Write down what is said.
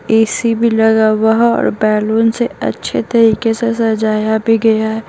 AC भी लगा हुआ है और बैलून से अच्छे तरीके से सजाया भी गया है।